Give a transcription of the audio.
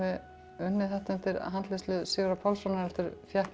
unnið þetta undir handleiðslu Sigurðar Pálssonar heldur fékk